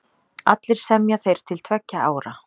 Allir semja þeir til tveggja ára.